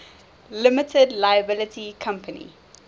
limited liability company